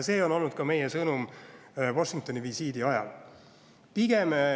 See oli meie sõnum Washingtoni-visiidi ajal.